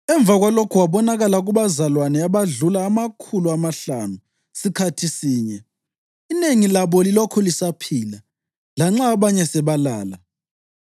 Emva kwalokho wabonakala kubazalwane abadlula amakhulu amahlanu sikhathi sinye, inengi labo lilokhu lisaphila, lanxa abanye sebalala.